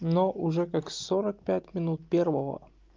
но уже как сорок пять минут первого